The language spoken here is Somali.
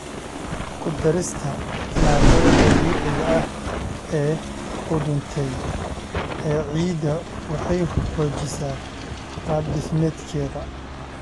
Ku darista maadada dabiiciga ah ee qudhuntay ee ciidda waxay xoojisaa qaabdhismeedkeeda.